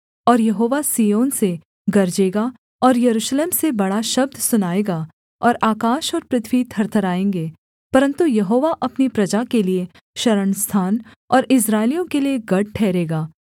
और यहोवा सिय्योन से गरजेगा और यरूशलेम से बड़ा शब्द सुनाएगा और आकाश और पृथ्वी थरथारएँगे परन्तु यहोवा अपनी प्रजा के लिये शरणस्थान और इस्राएलियों के लिये गढ़ ठहरेगा